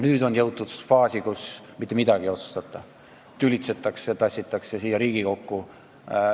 Nüüd on jõutud faasi, kus mitte midagi ei otsustata, tülitsetakse ja tassitakse oma tööd siia Riigikokku.